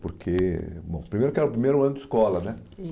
Porque, bom, primeiro que era o primeiro ano de escola, né?